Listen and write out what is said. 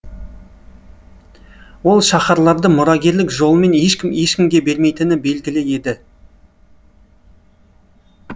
ол шаһарларды мұрагерлік жолымен ешкім ешкімге бермейтіні белгілі еді